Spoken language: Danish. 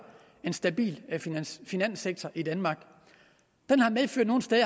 en stabil finanssektor i danmark